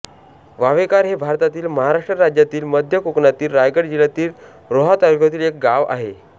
वावेखार हे भारतातील महाराष्ट्र राज्यातील मध्य कोकणातील रायगड जिल्ह्यातील रोहा तालुक्यातील एक गाव आहे